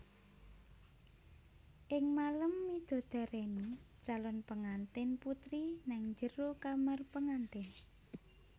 Ing malem midodareni calon pengantin putri nang jero kamar pengantin